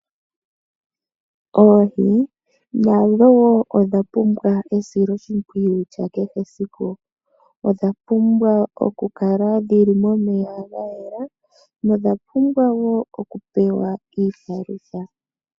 Oohi nadho woo odha pumbwa esiloshimpwiyu lya kehe esiku, odha pumbwa okukala dhili momeya ga yela nodha pumbwa woo okupewa iipalutha.